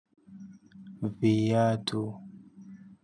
Viatu.